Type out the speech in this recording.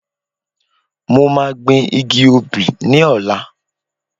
Mo máa gbìn igi obi ní ọ̀la